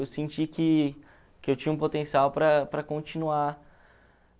Eu senti que que eu tinha um potencial para para continuar